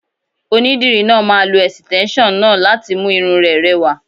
Onídìrí náà máa lo ẹ̀sìtẹ́nson náà láti mú irun rẹ rẹwà.